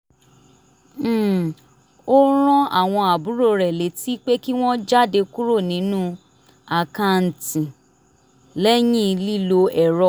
um ó rán àwọn àbúrò rẹ létí pé kí wọ́n jáde kúrò nínú àkàǹtì lẹ́yìn lílo ẹ̀rọ